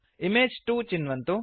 image 2 चिन्वन्तु